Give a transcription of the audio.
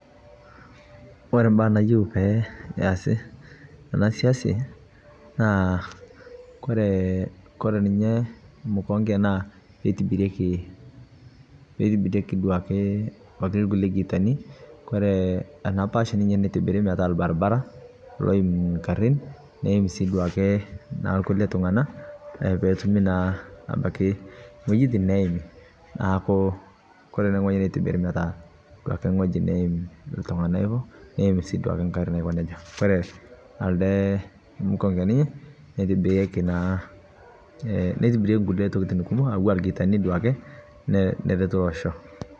Ore baa nayieu pee eesi te siasi naa kore ninye mkonge naa etibirieki duake ikulie gitani ore ee ena pash nitibiri metaa ebaribara loim garin, neim si duoake na kulie tungana peyie etumi naa ebaki wuejitin neimi neaku, ore ene wueji netibiri metaa duake wueji neim iltungana ivo neim sii duake garin aiko nejia. Ore kuldo mkongeni itibirieki naa ee nitibirieki kulie tokitin kumok anaa gitani duake nejokini toosho.